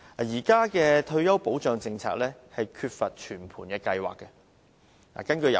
現行的退休保障政策缺乏全盤計劃。